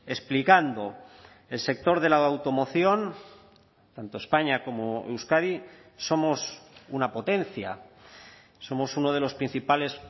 explicando el sector de la automoción tanto españa como euskadi somos una potencia somos uno de los principales